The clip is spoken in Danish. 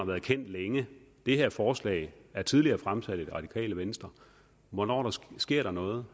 været kendt længe det her forslag er tidligere fremsat af det radikale venstre hvornår sker der noget